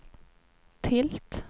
tilt